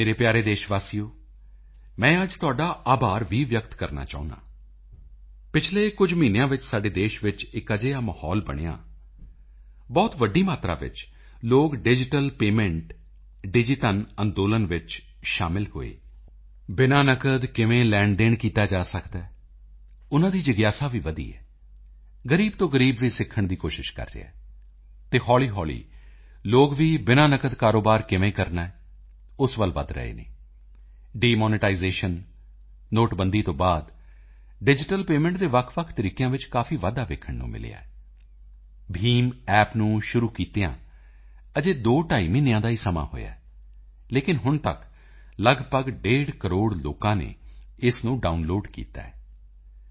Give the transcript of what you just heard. ਮੇਰੇ ਪਿਆਰੇ ਦੇਸ਼ ਵਾਸੀਓ ਮੈਂ ਅੱਜ ਤੁਹਾਡਾ ਆਭਾਰ ਵੀ ਵਿਅਕਤ ਕਰਨਾ ਚਾਹੁੰਦਾ ਹਾਂ ਪਿਛਲੇ ਕੁਝ ਮਹੀਨਿਆਂ ਵਿੱਚ ਸਾਡੇ ਦੇਸ਼ ਵਿੱਚ ਇਕ ਅਜਿਹਾ ਮਾਹੌਲ ਬਣਿਆ ਬਹੁਤ ਵੱਡੀ ਮਾਤਰਾ ਵਿੱਚ ਲੋਕ ਡਿਜੀਟਲ ਪੇਮੈਂਟ ਡਿਜੀਧਨ ਅੰਦੋਲਨ ਵਿੱਚ ਸ਼ਾਮਿਲ ਹੋਏ ਬਿਨਾਂ ਨਕਦ ਕਿਵੇਂ ਲੈਣਦੇਣ ਕੀਤਾ ਜਾ ਸਕਦਾ ਹੈ ਉਨ੍ਹਾਂ ਦੀ ਜਿਗਿਆਸਾ ਵੀ ਵਧੀ ਹੈ ਗਰੀਬ ਤੋਂ ਗਰੀਬ ਵੀ ਸਿੱਖਣ ਦੀ ਕੋਸ਼ਿਸ਼ ਕਰ ਰਿਹਾ ਹੈ ਅਤੇ ਹੌਲੀਹੌਲੀ ਲੋਕ ਵੀ ਬਿਨਾਂ ਨਕਦ ਕਾਰੋਬਾਰ ਕਿਵੇਂ ਕਰਨਾ ਹੈ ਉਸ ਵੱਲ ਵਧ ਰਹੇ ਹਨ ਡਿਮੋਨੇਟਾਈਜ਼ੇਸ਼ਨ ਨੋਟਬੰਦੀ ਤੋਂ ਬਾਅਦ ਡਿਜੀਟਲ ਪੇਮੈਂਟ ਦੇ ਵੱਖਵੱਖ ਤਰੀਕਿਆਂ ਵਿੱਚ ਕਾਫੀ ਵਾਧਾ ਵੇਖਣ ਨੂੰ ਮਿਲਿਆ ਹੈ BHIMApp ਨੂੰ ਸ਼ੁਰੂ ਕੀਤਿਆਂ ਅਜੇ ਦੋਢਾਈ ਮਹੀਨਿਆਂ ਦਾ ਹੀ ਸਮਾਂ ਹੋਇਆ ਹੈ ਲੇਕਿਨ ਹੁਣ ਤੱਕ ਲੱਗਭਗ ਡੇਢ ਕਰੋੜ ਲੋਕਾਂ ਨੇ ਇਸ ਨੂੰ ਡਾਊਨਲੋਡ ਕੀਤਾ ਹੈ